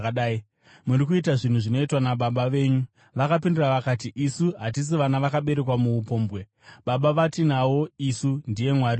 Muri kuita zvinhu zvinoitwa nababa venyu.” Vakapindura vakati, “Isu hatisi vana vakaberekwa muupombwe. Baba vatinavo isu ndiye Mwari bedzi.”